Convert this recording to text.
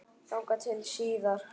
Þangað til síðar.